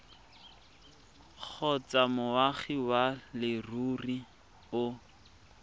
kgotsa moagi wa leruri o